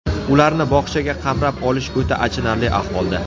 Ularni bog‘chaga qamrab olish o‘ta achinarli ahvolda.